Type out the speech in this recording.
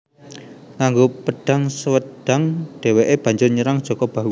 Nganggo pedhang Swedhang dheweke banjur nyerang Jaka Bahu